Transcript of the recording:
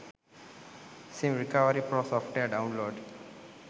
sim recovery pro software download